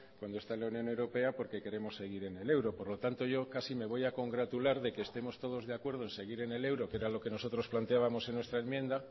donde está la unión europea porque queremos seguir en el euro por lo tanto yo casi me voy a congratular de que estemos todos de acuerdo en seguir en el euro que era lo que nosotros planteábamos en esta enmienda